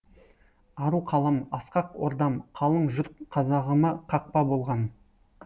ару қалам асқақ ордам қалың жұрт қазағыма қақпа болған